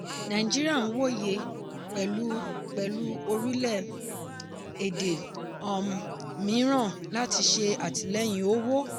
nàìjíríà n wòye pẹ̀lú pẹ̀lú orílẹ̀-èdè um mìíràn láti ṣe àtìlẹ́yìn owó.